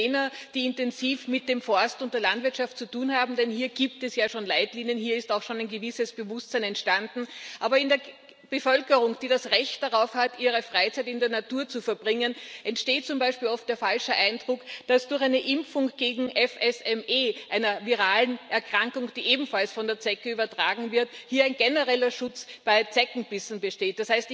Nicht nur jener, die intensiv mit dem Forst und der Landwirtschaft zu tun haben, denn hier gibt es ja schon Leitlinien, hier ist auch schon ein gewisses Bewusstsein entstanden. Aber in der Bevölkerung, die das Recht darauf hat, ihre Freizeit in der Natur zu verbringen, entsteht zum Beispiel oft der falsche Eindruck, dass durch eine Impfung gegen FSME, eine virale Erkrankung, die ebenfalls von der Zecke übertragen wird, hier ein genereller Schutz bei Zeckenbissen besteht.